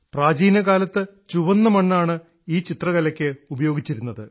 പ്രാചീനകാലത്ത് ചുവന്ന മണ്ണ് ഉപയോഗിച്ചാണ് ഈ ചിത്രകല ഉണ്ടാക്കിയിരുന്നത്